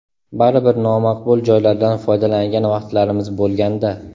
Baribir nomaqbul joylardan foydalangan vaqtlarimiz bo‘lganda.